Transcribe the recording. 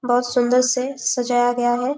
बहुत सुंदर से सजाया गया है ।